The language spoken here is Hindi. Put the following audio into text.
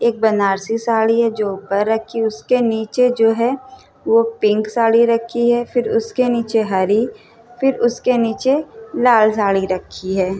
एक बनारसी साड़ी हैं जो उपर रखी हैं। उसके नीचे जो हैं पिंक साड़ी रखी हैं और फिर उसके नीचे हरी और फिर उसके नीचे लाल साड़ी रखी हैं।